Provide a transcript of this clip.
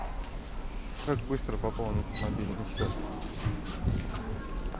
как быстро пополнить мобильный счет